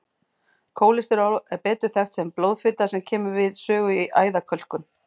Kólesteról er betur þekkt sem blóðfita sem kemur við sögu í æðakölkun.